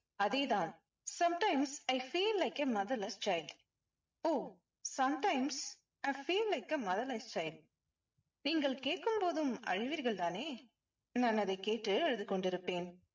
அதே தான். sometimes i feel like a motherless child ஓ sometimes i feel like a motherless child நீங்கள் கேட்கும் போதும் அழுவீர்கள் தானே? நான் அதைக் கேட்டு அழுது கொண்டிருப்பேன்.